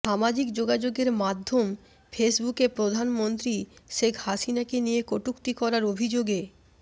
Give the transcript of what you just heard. সামাজিক যোগাযোগের মাধ্যম ফেসবুকে প্রধানমন্ত্রী শেখ হাসিনাকে নিয়ে কটূক্তি করার অভিযোগে